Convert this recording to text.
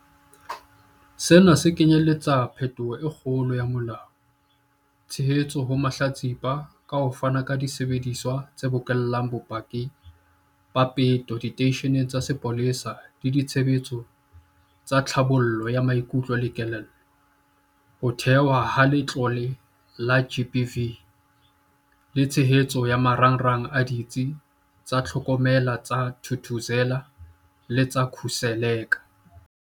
Sena se kenyeletsa phetholo e kgolo ya molao, tshehetso ho mahlatsipa ka ho fana ka disebediswa tse bokellang bopaki ba peto diteisheneng tsa sepolesa le ditshebeletso tsa tlhabollo ya maikutlo le kelello, ho thehwa ha Letlole la GBVF le tshehetso ya marangrang a Ditsi tsa Tlhokomelo tsa Thuthuzela le tsa Khuseleka.